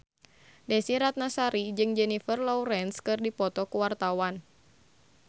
Desy Ratnasari jeung Jennifer Lawrence keur dipoto ku wartawan